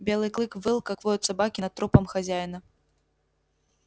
белый клык выл как воют собаки над трупом хозяина